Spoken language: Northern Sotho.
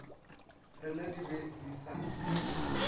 rena di be di sa